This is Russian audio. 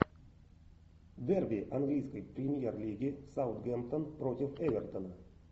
дерби английской премьер лиги саутгемптон против эвертон